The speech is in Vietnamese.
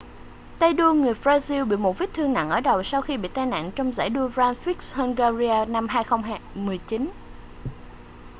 tay đua người brazil bị một vết thương nặng ở đầu sau khi bị tai nạn trong giải đua grand prix hungaria năm 2009